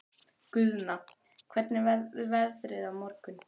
Guðna, hvernig verður veðrið á morgun?